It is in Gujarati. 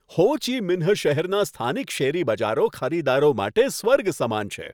હો ચી મિન્હ શહેરના સ્થાનિક શેરી બજારો ખરીદદારો માટે સ્વર્ગ સમાન છે.